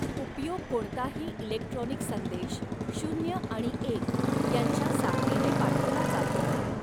उपयोग कोणताही इलेक्ट्रॉनिक संदेश शून्य अणि एक यांच्या साखळीने पाठवला जातो.